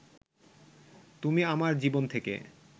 তুমি আমার জীবন থেকে